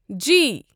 جی